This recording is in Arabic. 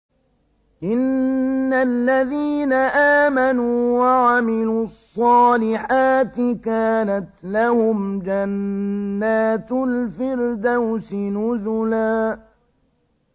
إِنَّ الَّذِينَ آمَنُوا وَعَمِلُوا الصَّالِحَاتِ كَانَتْ لَهُمْ جَنَّاتُ الْفِرْدَوْسِ نُزُلًا